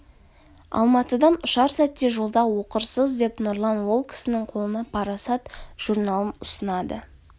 алматыдан ұшар сәтте жолда оқырсыз деп нұрлан ол кісінің қолына парасат журналын ұсынады